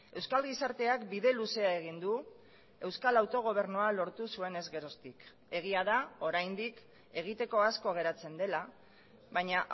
euskal gizarteak bide luzea egin du euskal autogobernua lortu zuenez geroztik egia da oraindik egiteko asko geratzen dela baina